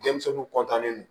Denmisɛnninw don